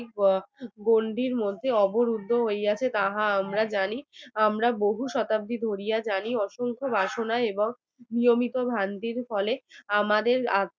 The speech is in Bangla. গণ্ডির মধ্যে অবরুদ্ধ হইয়াছে তাহা আমরা জানি আমরা বহু শতাব্দী ধরে জানি অসংখ্য বাসনায় নিয়মিত ফলে আমাদের